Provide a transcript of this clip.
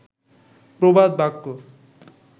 প্রবাদ বাক্য